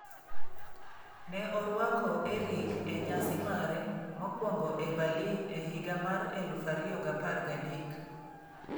Ne orwako Erick e nyasi mare mokwongo e Berlin e higa mar 2013.